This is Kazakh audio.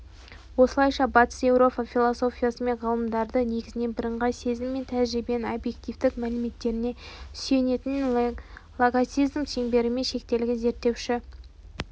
осылайша батыс еуропа философиясы мен ғылымында негізінен бірыңғай сезім мен тәжірибенің объективтік мәліметтеріне сүйенетін логицизм шеңберімен шектелген зерттелуші